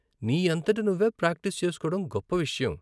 నీ అంతట నువ్వే ప్రాక్టీస్ చేసుకోవడం గొప్ప విషయం.